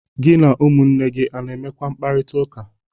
Gi na ụmụnne gi ọ na-enwekwa mkparịtaụka?